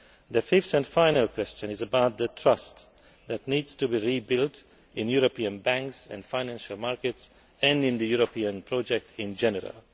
The fifth and final question is about the trust that needs to be rebuilt in European banks and financial markets and in the European project in general.